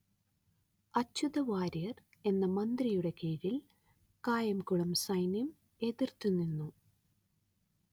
അച്യുത വാര്യർ എന്ന മന്ത്രിയുടെ കീഴിൽ കായംകുളം സൈന്യം എതിർത്തു നിന്നു